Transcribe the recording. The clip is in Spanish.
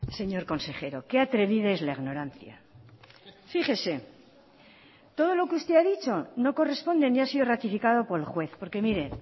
señor consejero qué atrevida es la ignorancia fíjese todo lo que usted ha dicho no corresponde ni ha sido ratificado por el juez porque mire